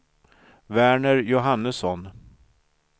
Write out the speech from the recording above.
Verner Johannesson